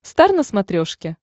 стар на смотрешке